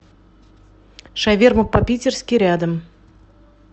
шаверма по питерски рядом